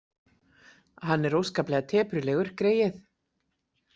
Hann er óskaplega teprulegur greyið.